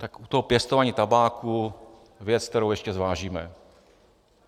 Tak u toho pěstování tabáku věc, kterou ještě zvážíme.